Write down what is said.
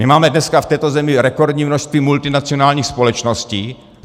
My máme dneska v této zemi rekordní množství multinacionálních společností.